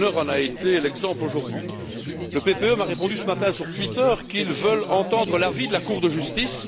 Fjellner en a été l'exemple aujourd'hui. Le groupe PPE m'a répondu ce matin sur Twitter qu'il veut entendre l'avis de la Cour de justice.